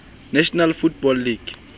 national football league